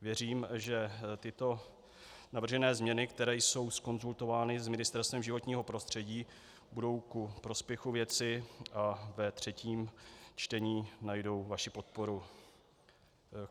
Věřím, že tyto navržené změny, které jsou zkonzultovány s Ministerstvem životního prostředí, budou ku prospěchu věci a ve třetím čtení najdou vaši podporu.